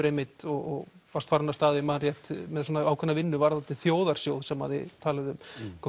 einmitt og var farinn af stað ég man rétt ákveðna vinnu varðandi þjóðarsjóð sem þið talið um